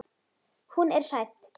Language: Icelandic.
Hún er hrædd.